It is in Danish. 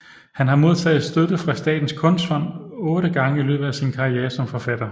Han har modtaget støtte fra Statens Kunstfond otte gange i løbet af sin karriere som forfatter